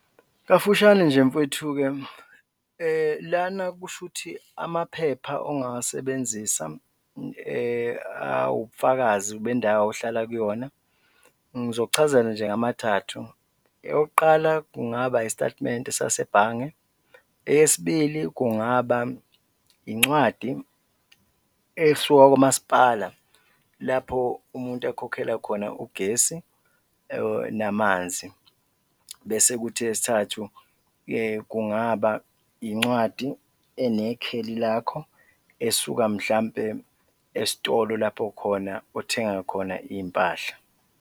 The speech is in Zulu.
Kafushane nje mfowethu-ke, lana kushuthi amaphepha ongawasebenzisa awubufakazi bendawo ohlala kuyona, ngizokuchazela nje ngamathathu. Eyokuqala kungaba isitatimende sasebhange, eyesibili kungaba incwadi esuka kwamasipala lapho umuntu ekhokhela khona ugesi namanzi bese kuthi eyesithathu kungaba incwadi enekheli lakho esuka mhlawumbe esitolo lapho khona othenga khona iy'mpahla.